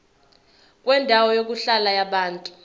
kwendawo yokuhlala yabantu